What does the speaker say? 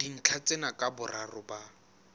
dintlha tsena ka boraro ba